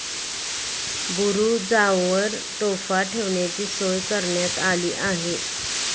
बुरूजांवर तोफा ठेवण्याची सोय करण्यात आली आहे.